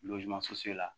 la